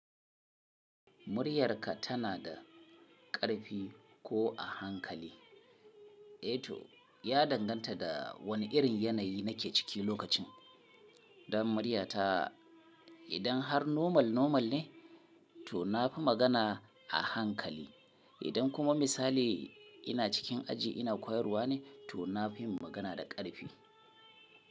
Muryarka tana da ƙarfi ko a hankali? Eh to, ya danganta da wane irin yanayi nake ciki lokacin. Don muryata idan har normal normal ne to na fi magana a hankali. Idan kuma misali ina cikin aji ina koyarwa ne to na fi magana da ƙarfi.